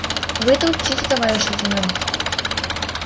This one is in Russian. вы это учтите товарищ лейтенант